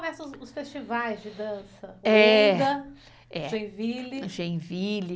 Nessa época começam os festivais de dança, Wenda, Genville.